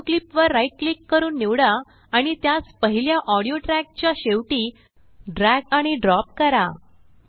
audio clip वर right click करून निवडा आणि त्यासपहिल्याऑडियो ट्रैकच्या शेवटी ड्रैग आणि ड्रॉप करा